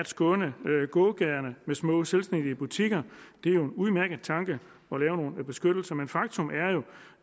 skåne gågaderne med små selvstændige butikker det er jo en udmærket tanke at lave nogle beskyttelser men faktum